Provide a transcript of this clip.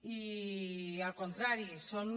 i al contrari són